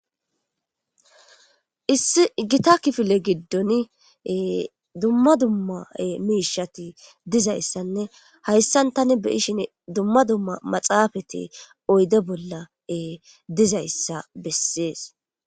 Issi gita kifile giddoni dumma dumma deshshati dizayisanne hayisan tani beishinni dumma dumma maxaafeti oyidde bola dizayisa bessees